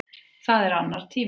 Það er annar tími.